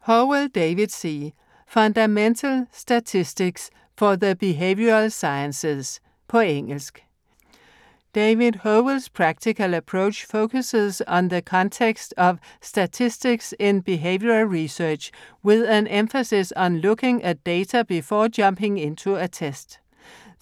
Howell, David C.: Fundamental statistics for the behavioral sciences På engelsk. David Howell's practical approach focuses on the context of statistics in behavioral research, with an emphasis on looking at data before jumping into a test.